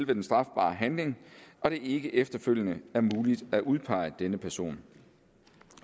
den strafbare handling og det ikke efterfølgende er muligt at udpege denne person